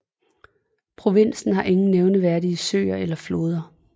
Provinsen har ingen nævneværdige søer eller floder